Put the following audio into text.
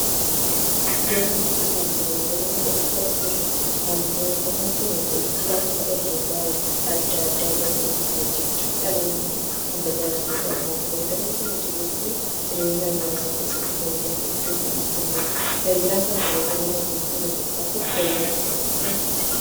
Iddoo kanatti kaalkuleeterii argaa jirra. kaalkuleeterii kun hojii akka herrega addaa addaa dafii ittiin hojjechuuf dhala namaa kan tajaajiluudha. kaalkuleeterii kun jiruu fi jireenya hawaasaa keessatti faayidaa hedduu kan kennuudha. faayidaan kaalkuleeteriin namaaf kennu keessa tokko yeroo qusachuuf nu fayyada.